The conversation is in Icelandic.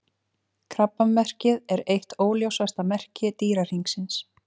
Krabbamerkið er eitt óljósasta merki Dýrahringsins.